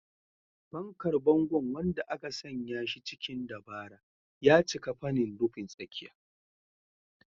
Fankar bangon, wanda aka sanya shi cikin dabara, ya cika fanin rufin tsakiya.